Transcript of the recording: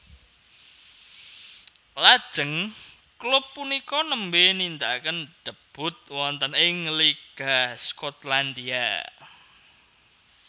Lajeng klub punika nembè nindakaken debut wonten ing Liga Skotlandia